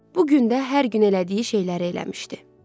Bu gün də hər gün elədiyi şeyləri eləmişdi.